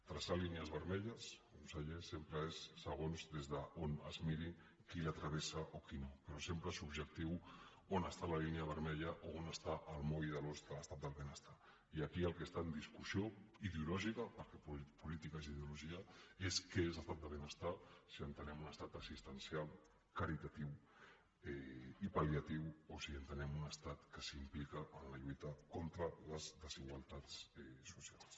traçar línies vermelles conseller sempre és segons des d’on es miri qui travessa o qui no però sempre és subjectiu on està la línia vermella o on està el moll de l’os de l’estat del benestar i aquí el que està en discussió ideològica perquè política és ideologia és que és l’estat del benestar si entenem un estat assistencial caritatiu i palliatiu o si entenem un estat que s’implica en la lluita contra les desigualtats socials